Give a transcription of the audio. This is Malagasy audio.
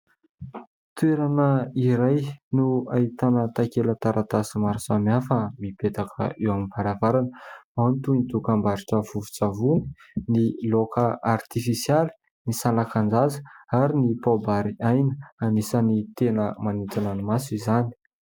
Toerana iray no ahitana take- taratasy maro samihafa mipetaka eo am-baravarana toy ny dokam-barotra vovon-tsavony, ny laoka artifisialy, ny salakan-jaza ary ny paobary aina anisany tena manintona ny maso izany.